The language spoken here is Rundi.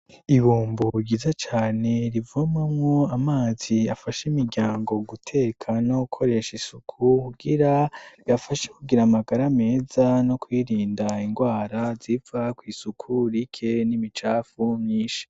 Ibumbu gize cane rivumamwo amazi afashe imiryango guteka no gukoresha isuku kugira bafashe kugira amagara ameza no kwirinda ingwara ziva kw'isuku rike n'imicafu myinshi.